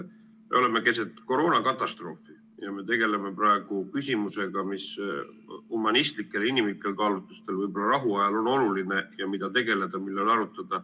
Me oleme keset koroonakatastroofi ja tegeleme küsimusega, mis humanistlikel-inimlikel kaalutlustel võiks rahuajal olla oluline teema, millega tegeleda ja mida arutada.